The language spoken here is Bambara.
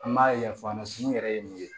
An b'a ɲɛfɔ a ɲɛna n yɛrɛ ye mun ye